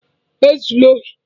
Ezula ohi!